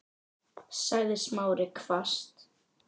sagði Smári hvasst.